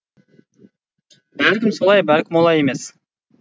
бәлкім солай бәлкім олай емес